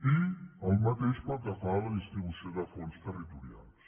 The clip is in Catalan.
i el mateix pel que fa a la distribució de fons territorials